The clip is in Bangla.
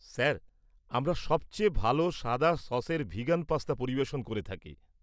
স্যার, আমরা সব চেয়ে ভালো সাদা সসের ভিগান পাস্তা পরিবেশন করে থাকি।